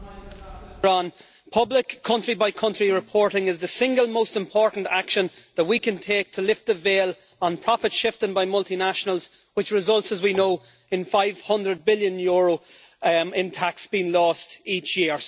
Madam President, public country-by-country reporting is the single most important action that we can take to lift the veil on profit shifting by multinationals which results, as we know, in EUR 500 billion in tax being lost each year.